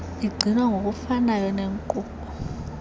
igcinwa ngokufanayo nenkqubo